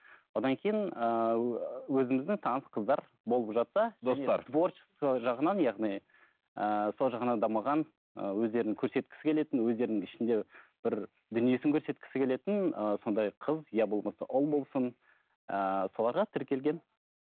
одан кейін ыыы өзіміздің таныс қыздар болып жатса достар және творчество жағынан яғни ыыы сол жағынан дамыған ыыы өздерін көрсеткісі келетін өздерінің ішінде бір дүниесін көрсеткісі келетін ыыы сондай қыз иә болмаса ұл болсын ыыы соларға тіркелгенмін